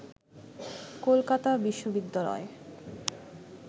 Kolkata বিশবিদ্যালয়ে